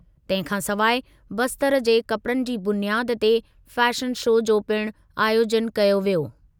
तंहिं खां सवाइ बस्तर जे कपिड़नि जी बुनियादु ते फैशन शो जो पिणु आयोजनु कयो वियो।